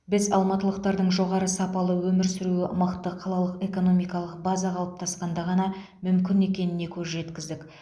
біз алматылықтардың жоғары сапалы өмір сүруі мықты қалалық экономикалық база қалыптасқанда ғана мүмкін екеніне көз жеткіздік